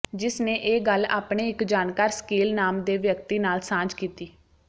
ਜਿਸ ਨੇ ਇਹ ਗੱਲ ਆਪਣੇ ਇਕ ਜਾਣਕਾਰ ਸਕੀਲ ਨਾਮ ਦੇ ਵਿਅਕਤੀ ਨਾਲ ਸਾਂਝੀ ਕੀਤੀ